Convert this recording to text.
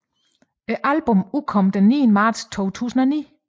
Albummet udkom den 9 marts 2009